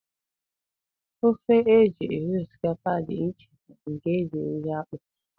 Ofe e ji eri osikapa dị iche na nke e ji eri akpụ.